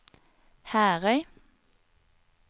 Herøy